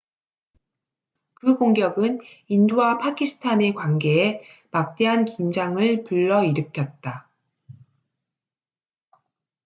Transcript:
그 공격은 인도와 파키스탄의 관계에 막대한 긴장을 불러일으켰다